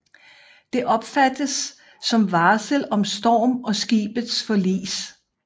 Det opfattes som varsel om storm og skibets forlis